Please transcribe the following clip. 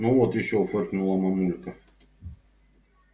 ну вот ещё фыркнула мамулька